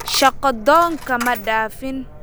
Shaqo doonka ma dhaafin